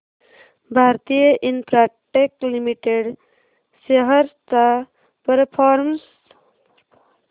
Bharti Infratel Limited shares चा performance